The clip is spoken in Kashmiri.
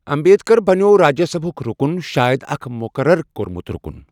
امبیدکر بنٛیٚوو راجیہ سبھُک رُکن، شایَد اکھ مُقرر کوٚرمُت رُکن۔